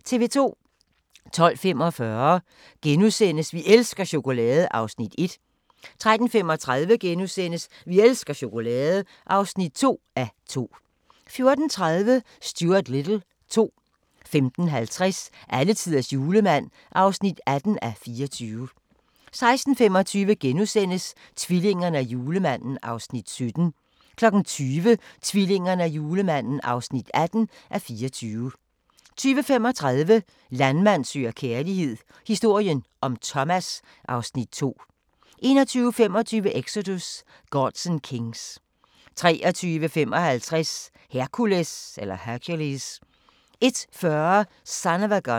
12:45: Vi elsker chokolade! (1:2)* 13:35: Vi elsker chokolade! (2:2)* 14:30: Stuart Little 2 15:50: Alletiders julemand (18:24) 16:25: Tvillingerne og julemanden (17:24)* 20:00: Tvillingerne og julemanden (18:24) 20:35: Landmand søger kærlighed - historien om Thomas (Afs. 2) 21:25: Exodus: Gods and Kings 23:55: Hercules 01:40: Son of a Gun